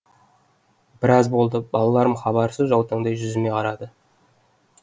біраз болды балаларым хабарсыз жаутаңдай жүзіме қарады